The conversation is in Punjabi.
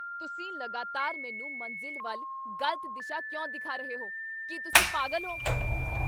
ਤੁਸੀਂ ਲਗਾਤਾਰ ਮੈਨੂੰ ਮੰਜ਼ਿਲ ਵੱਲ ਗ਼ਲਤ ਦਿਸ਼ਾ ਕਿਉਂ ਦਿਖਾ ਰਹੇ ਹੋ। ਕੀ ਤੁਸੀਂ ਪਾਗਲ ਹੋ?